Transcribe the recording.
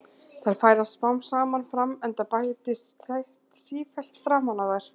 Þær færast smám saman fram enda bætist set sífellt framan á þær.